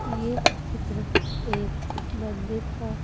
यह चित्र एक मंदिर का--